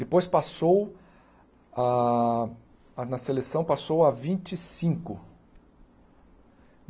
Depois passou, a a na seleção, passou a vinte e cinco.